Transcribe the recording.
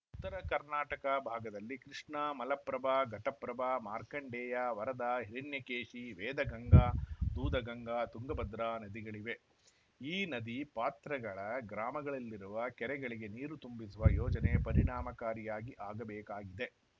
ಉತ್ತರ ಕರ್ನಾಟಕ ಭಾಗದಲ್ಲಿ ಕೃಷ್ಣಾ ಮಲಪ್ರಭಾ ಘಟಪ್ರಭಾ ಮಾರ್ಕಂಡೇಯ ವರದಾ ಹಿರಣ್ಯಕೇಶಿ ವೇದಗಂಗಾ ದೂದಗಂಗಾ ತುಂಗಭದ್ರಾ ನದಿಗಳಿವೆ ಈ ನದಿ ಪಾತ್ರಗಳ ಗ್ರಾಮಗಳಲ್ಲಿರುವ ಕೆರೆಗಳಿಗೆ ನೀರು ತುಂಬಿಸುವ ಯೋಜನೆ ಪರಿಣಾಮಕಾರಿಯಾಗಿ ಆಗಬೇಕಾಗಿದೆ